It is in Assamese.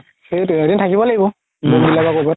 সেইটোৱে এদিন থাকিব লাগিব বা কবাত